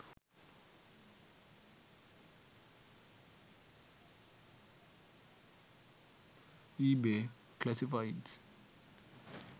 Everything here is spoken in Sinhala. ebay classifieds